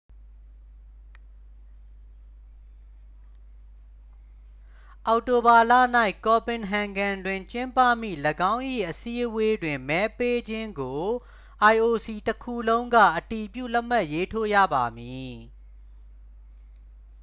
အောက်တိုဘာလ၌ copenhagen တွင်ကျင်းပမည့်၎င်း၏အစည်းအဝေးတွင် မဲပေးခြင်းကို ioc တစ်ခုလုံးက အတည်ပြုလက်မှတ်ရေးထိုးရပါမည်